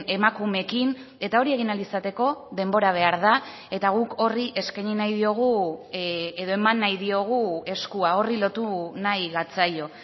emakumeekin eta hori egin ahal izateko denbora behar da eta guk horri eskaini nahi diogu edo eman nahi diogu eskua horri lotu nahi gatzaio